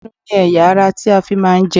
Ẹnu ni ẹ̀yà - ara tí a fi máa ń jẹun.